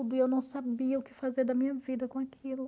E eu não sabia o que fazer da minha vida com aquilo.